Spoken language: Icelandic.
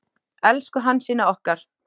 Elsku Hansína okkar.